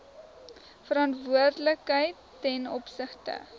verantwoordelikheid ten opsigte